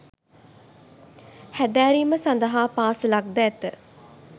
හැදෑරීම සඳහා පාසලක් ද ඇත